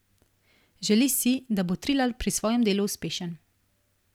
Želi si, da bo Trilar pri svojem delu uspešen.